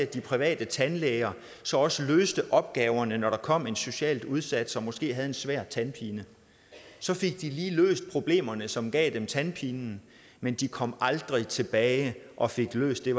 de private tandlæger også løste opgaverne når der kom en socialt udsat som måske havde en svær tandpine så fik de lige løst problemerne som gav dem tandpinen men de kom aldrig tilbage og fik løst det